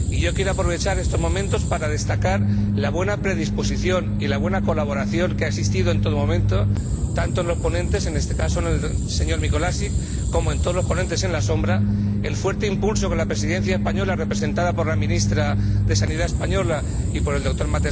Y quiero aprovechar estos momentos para destacar la buena predisposición y la buena colaboración que ha existido en todo momento tanto en los ponentes —en este caso, el señor Mikolášik— como en los ponentes alternativos, así como el fuerte impulso que la Presidencia española —representada por la Ministra de Sanidad española y por el Dr.